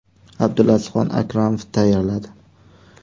Abdulazizxon Akramov tayyorladi.